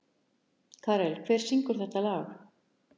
Karel, hver syngur þetta lag?